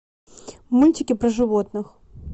мультики про животных